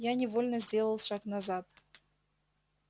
я невольно сделал шаг назад